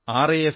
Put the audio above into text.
F R